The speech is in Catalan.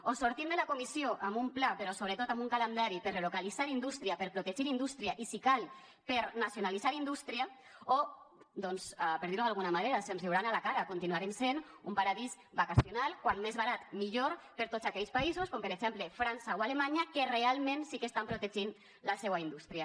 o sortim de la comissió amb un pla però sobretot amb un calendari per a relocalitzar indústria per a protegir la indústria i si cal per a nacionalitzar indústria o doncs per dir ho d’alguna manera se’ns riuran a la cara continuarem sent un paradís vacacional com més barat millor per a tots aquells països com per exemple frança o alemanya que realment sí que estan protegint la seua indústria